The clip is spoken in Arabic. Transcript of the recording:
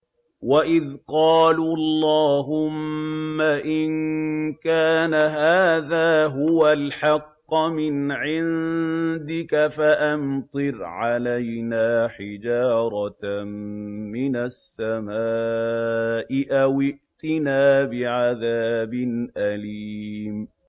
وَإِذْ قَالُوا اللَّهُمَّ إِن كَانَ هَٰذَا هُوَ الْحَقَّ مِنْ عِندِكَ فَأَمْطِرْ عَلَيْنَا حِجَارَةً مِّنَ السَّمَاءِ أَوِ ائْتِنَا بِعَذَابٍ أَلِيمٍ